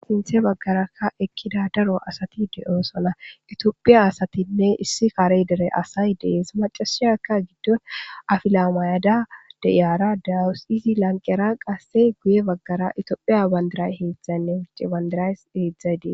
Sinthe bagaraka eqida daro asati de'osona itophiya asatine issi kare dere asay des macashiyaka be afila mayada de'iara de'awus izi bagara woyko guye bagara itophiya bandira hedzayne wuchen bandira hedzay des